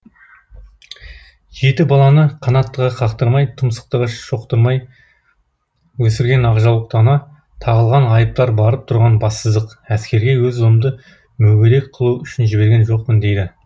жеті баланы қанаттыға қақтырмай тұмсықтыға шоқтырмай өсірген ақжаулықты ана тағылған айыптар барып тұрған бассыздық әскерге өз ұлымды мүгедек қылу үшін жіберген жоқпын дейді